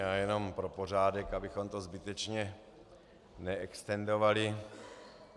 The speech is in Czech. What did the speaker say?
Já jenom pro pořádek, abychom to zbytečně neextendovali.